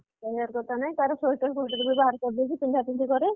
କହିବାର କଥା ନାଇ ତାର sweater ଫ୍ଵେଟର ବି ବାହାର କରିଦେଇଛି ପିନ୍ଧା ପିନ୍ଧି ବି କରେ